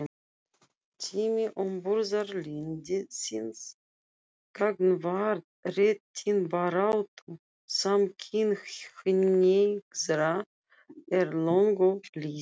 Tími umburðarlyndis gagnvart réttindabaráttu samkynhneigðra er löngu liðinn.